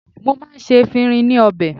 Mo máa ń ṣe efinrin ní ọbẹ̀.